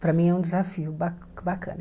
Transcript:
Para mim é um desafio ba bacana.